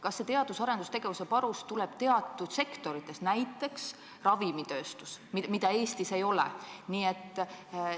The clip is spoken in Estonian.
Kas see teadus- ja arendustegevuse panus tuleb teatud sektoritest, näiteks ravimitööstusest, mida Eestis ei ole?